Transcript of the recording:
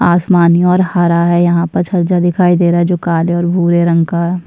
आसमानी और हरा है यहाँ पर छज्जा दिखाई दे रहा है जो की काले और भूरे रंग का --